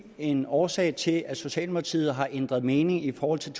en årsag til at socialdemokratiet har ændret mening i forhold til